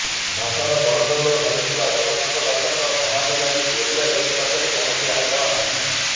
ଭାଷାର ବଡ଼ ଦେଉଳ ଗଢିଥିବା ଜଗନ୍ନାଥ ଦାସଙ୍କ ସମାଧି ଲାଗି ଓଡ଼ିଆ ଜାତି ପାଖରେ କୌଣସି ଆଗ୍ରହ ନାହିଁ